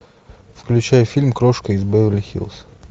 включай фильм крошка из беверли хиллз